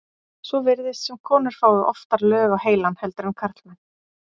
Svo virðist sem konur fái oftar lög á heilann heldur en karlmenn.